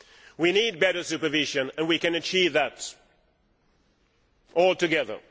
We need better supervision and we can achieve that all together.